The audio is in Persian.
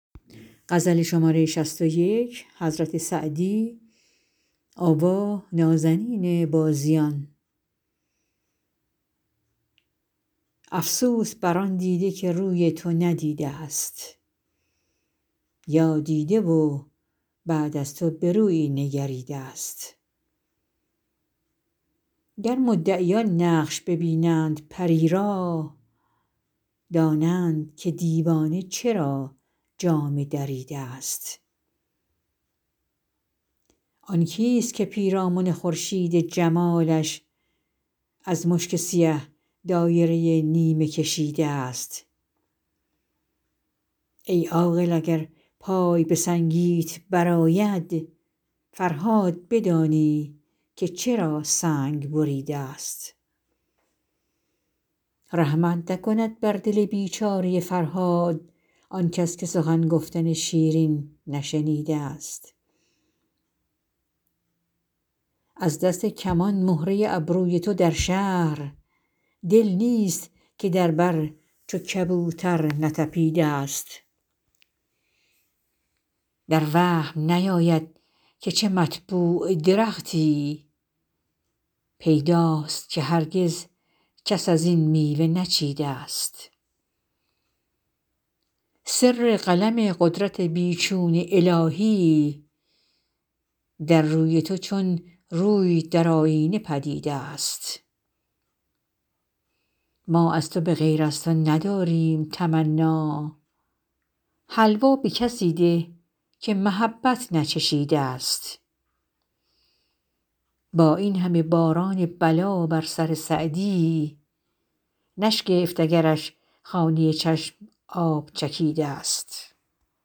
افسوس بر آن دیده که روی تو ندیده ست یا دیده و بعد از تو به رویی نگریده ست گر مدعیان نقش ببینند پری را دانند که دیوانه چرا جامه دریده ست آن کیست که پیرامن خورشید جمالش از مشک سیه دایره نیمه کشیده ست ای عاقل اگر پای به سنگیت برآید فرهاد بدانی که چرا سنگ بریده ست رحمت نکند بر دل بیچاره فرهاد آنکس که سخن گفتن شیرین نشنیده ست از دست کمان مهره ابروی تو در شهر دل نیست که در بر چو کبوتر نتپیده ست در وهم نیاید که چه مطبوع درختی پیداست که هرگز کس از این میوه نچیده ست سر قلم قدرت بی چون الهی در روی تو چون روی در آیینه پدید است ما از تو به غیر از تو نداریم تمنا حلوا به کسی ده که محبت نچشیده ست با این همه باران بلا بر سر سعدی نشگفت اگرش خانه چشم آب چکیده ست